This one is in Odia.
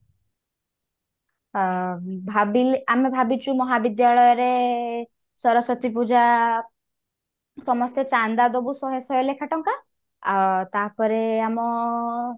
ଆ ଭାବିନେ ଆମେ ଭାବିଛୁ ମହାବିଦ୍ୟାଳୟ ରେ ସରସ୍ଵତୀ ପୂଜା ସମସ୍ତେ ଚାନ୍ଦା ଦବୁ ଶହେ ଶହେ ଲେଖା ଟଙ୍କା ଆଉ ତାପରେ ଆମ